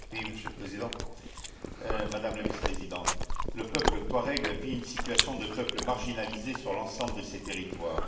Monsieur le Président, Madame la Vice présidente, le peuple touareg vit une situation de peuple marginalisé sur l'ensemble de ses territoires.